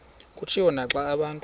kutshiwo naxa abantu